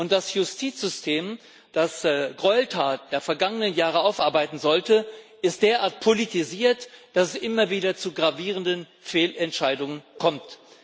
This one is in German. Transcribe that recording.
Das Justizsystem, das die Gräueltaten der vergangenen Jahre aufarbeiten sollte, ist derart politisiert, dass es immer wieder zu gravierenden Fehlentscheidungen kommt.